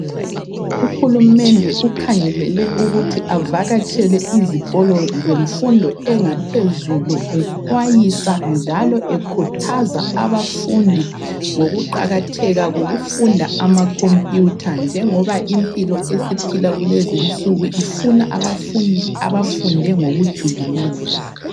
Uhulumende ukhangelele ukuthi avakatshele izikolo zemfundo engaphezulu exwayisa njalo ekhuthaza abafundi ngokuqakatheka kokufunda amakhompiyutha njengoba impilo esiphilwa kulezinsuku ifuna abafundi abafunde ngokujulileyo.